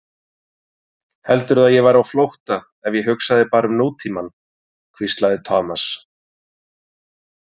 Heldurðu að ég væri á flótta ef ég hugsaði bara um nútímann? hvíslaði Thomas.